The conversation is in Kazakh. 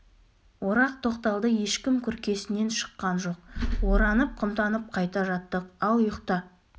орақ тоқталды ешкім күркесінен шыққан жоқ оранып-қымтанып қайта жаттық ал ұйықта